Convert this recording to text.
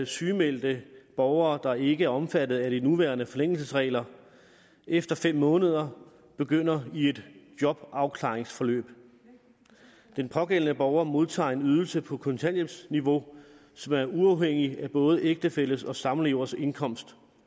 sygemeldte borgere der ikke er omfattet af de nuværende forlængelsesregler efter fem måneder begynder i et jobafklaringsforløb de pågældende borgere modtager en ydelse på kontanthjælpsniveau som er uafhængig af både ægtefælles og samlevers indkomst